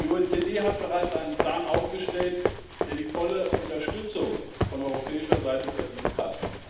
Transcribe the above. Die OECD hat bereits einen Plan aufgestellt, der die volle Unterstützung von europäischer Seite verdient hat.